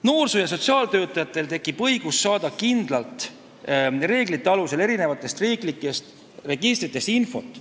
Noorsoo- ja sotsiaaltöötajatel tekib õigus saada kindlate reeglite alusel riiklikest registritest infot.